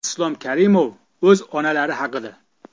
Islom Karimov o‘z onalari haqida .